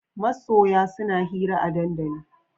Masoya suna hira a dandali